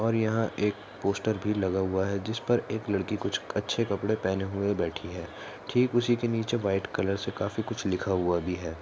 और यहाँ एक पोस्टर भी लगा हुआ है जिस पर एक लड़की कुछ अच्छे कपड़े पहने हुए बैठी है ठीक उसि के नीचे व्हाइट कलर से काफी कुछ लिखा हुआ भी है।